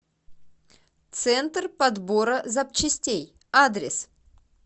центр подбора запчастей адрес